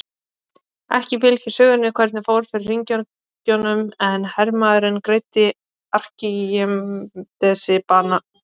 Spænskt nautaat er mjög formföst athöfn sem á sér ríka hefð.